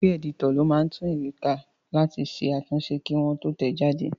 Kọ́pì ẹ̀dítọ̀ ló máa ń tún ìwé ká láti ṣe àtúnṣe kí wọ́n tó tẹ̀ ẹ́ jáde